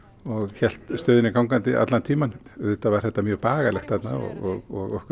hélt stöðinni gangandi allan tímann auðvitað var þetta mjög bagalegt þarna og okkur